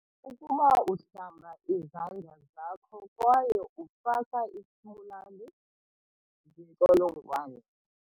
Ukuba uhlamba izandla zakho kwaye ufaka isibulali zintsholongwane.